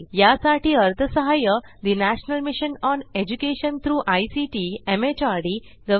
यासाठी अर्थसहाय्य national mission on education through ICT MHRD government of India यांच्याकडून मिळालेले आहे